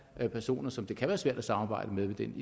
er personer som det kan være svært at samarbejde med i den